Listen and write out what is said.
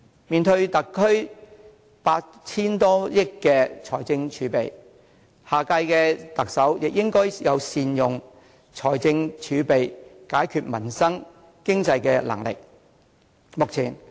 面對特區政府 8,000 多億元的財政儲備，下任特首也應該有善用財政儲備、解決民生、改善經濟的能力。